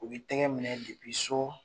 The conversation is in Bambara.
U b'i tɛgɛ minɛ so